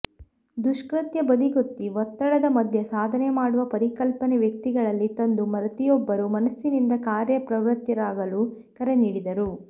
ದುಷ್ಕ್ಕತ್ಯ ಬದಿಗೊತ್ತಿ ಒತ್ತಡದ ಮಧ್ಯೆ ಸಾಧನೆ ಮಾಡುವ ಪರಿಕಲ್ಪನೆ ವ್ಯಕ್ತಿಗಳಲ್ಲಿ ತಂದು ಪ್ರತಿಯೊಬ್ಬರು ಮನಸ್ಸಿನಿಂದ ಕಾರ್ಯ ಪ್ರವೃತ್ತರಾಗಲು ಕರೆ ನೀಡಿದರು